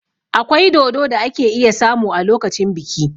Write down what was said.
Akwai dodo da ake iya samu a lokacin biki.